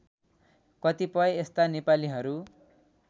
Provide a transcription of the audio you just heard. कतिपय यस्ता नेपालीहरू